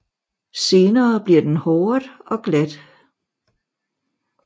Senere bliver den håret og glat